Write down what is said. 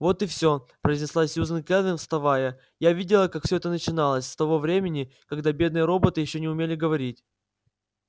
вот и все произнесла сьюзен кэлвин вставая я видела как все это начиналось с того времени когда бедные роботы ещё не умели говорить